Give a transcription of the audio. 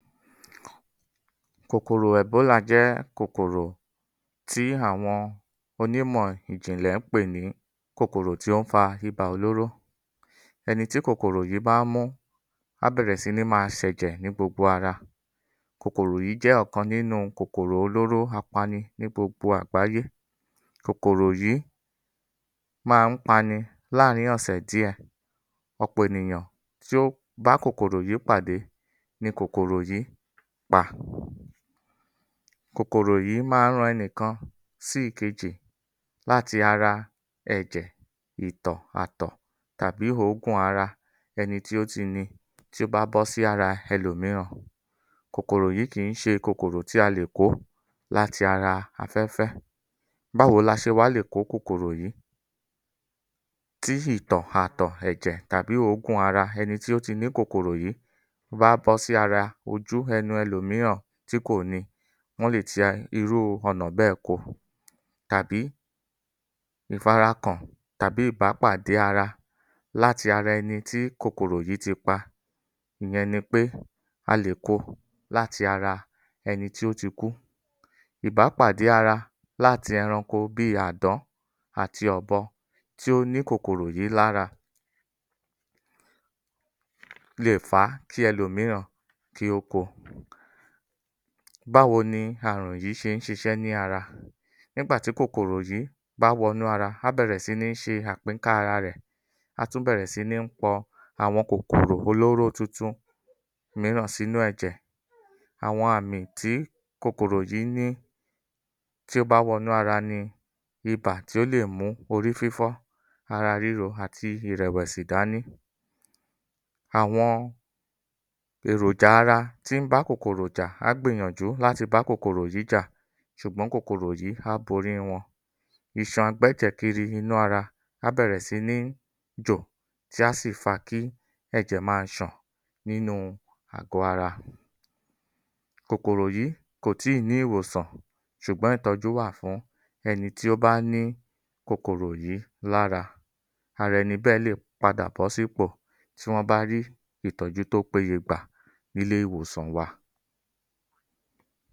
Kòkòrò Ẹ̀bólà jẹ́ kòkòrò tí àwọn onímọ̀ ìjìnlẹ̀ ń pè ní kòkòrò tí ó ń fa ibà olóró. Ẹni tí kòkòrò yìí bá mú á bẹ̀rẹ̀ si ní máa ṣẹ̀jẹ̀ ní gbogbo ara. Kòkòrò yìí jẹ́ ọ̀kan nínú kòkòrò olóró apani ní gbogbo àgbáyé. Kòkòrò yìí máa ń pani láàárín ọ̀sẹ̀ díè. Ọ̀pọ̀ ènìyàn tí ó bá kòkòrò yìí pàdé ni kòkòrò yìí pa. Kòkòrò yii máa ń ran ẹnìkan sí ìkejì láti ara, ẹ̀jẹ̀, ìtọ̀, àtọ̀ tàbí òógùn ara ẹni tí ó ti ni, tí ó bá bọ́sí ara ẹlòmíràn. Kòkòrò yìí kìí ṣe kòkòrò tí a lè kó láti ara afẹ́fẹ́. Báwo la ṣe wá lè kó kòkòrò yìí? Tí ìtọ̀, àtọ̀, ẹ̀jẹ̀ tàbí òógùn ara ẹni tí ó ti ní kòkòrò yìí bá bọ́sí ara, ojú, ẹnu ẹlòmíràn tí kò ni, wọ́n lè ti irú ọ̀nà bẹ́ẹ̀ ko tàbí ìfarakàn tàbí ìbápàdé ara láti ara ẹni tí kòkòrò yìí ti pa, ìyẹn ni pé a lè ko láti ara ẹni tí ó ti kú. Ìbápàdé ara láti ẹranko bíi àdán àti ọ̀bọ tí ó ní kòkòrò yìí lára lè fà kí ẹlòmíràn kí ó ko. Báwo ni àrùn yìí ṣe ń ṣiṣẹ́ ní ara? Nígbà tí kòkòrò yìí bá wọnú ara, á bẹ̀rẹ̀ si ní ṣe àpínká ara rẹ̀, á tún bẹ̀rẹ̀ si ni pọ àwọn kòkòrò olóró tuntun mìíràn sínú ẹ̀jẹ̀. Àwọn àmì tí kòkòrò yìí ní tí ó bá wọnú ara ni ìbà tí ó lè mú orí fífọ́, ara ríro àti ìrẹ̀wẹ̀sí dání. Àwọn èròjà ara tí ń bá kòkòrò jà, á gbìyànjú láti bá kòkòrò yìí jà ṣùgbọ́n kòkòrò yìí á bori wọn. Iṣan gbẹ́jẹ̀kiri inú ara, á bẹ̀rẹ̀ si ní jò tí á sì fà kí ẹ̀jẹ̀ máa ṣàn nínú àgọ̀ ara. Kòkòrò yìí kò tíì ní ìwòsàn ṣùgbọ́n ìtọ́jú wà fún ẹni tí ó bá ní kòkòrò yìí lára. Ara ẹni bẹ́ẹ̀ léè padà bọ́sípò tí wọ́n bá rí ìtọ́jú tó péye gbà ní ilé ìwòsàn wa.